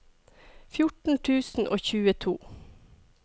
fjorten tusen og tjueto